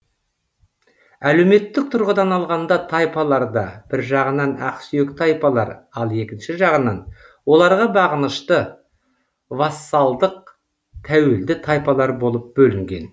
әлеуметтік тұрғыдан алғанда тайпалар да бір жағынан ақсүйек тайпалар ал екінші жағынан оларға бағынышты вассалдық тәуелді тайпалар болып бөлінген